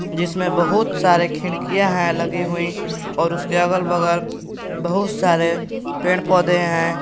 जिसमें बहुत सारे खिड़कियां है लगी हुई और उसके अगल बगल बहुत सारे पेड़ पौधे हैं।